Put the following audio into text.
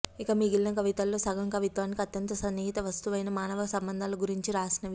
ఇక మిగిలిన కవితల్లో సగం కవిత్వానికి అత్యంత సన్నిహిత వస్తువైన మానవ సంబంధాల గురించి రాసినవి